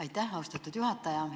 Aitäh, austatud juhataja!